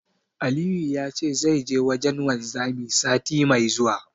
Aliyu ya ce zai je wajen wanzami, sati mai zuwa.